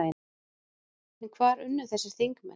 En hvar unnu þessir þingmenn?